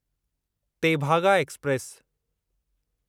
Tebhaga express